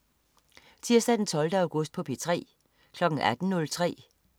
Tirsdag den 12. august - P3: